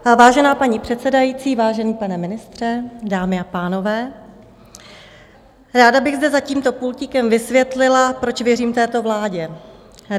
Vážená paní předsedající, vážený pane ministře, dámy a pánové, ráda bych zde za tímto pultíkem vysvětlila, proč věřím této vládě.